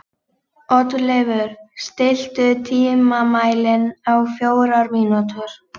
Oddleifur, stilltu tímamælinn á fjórar mínútur.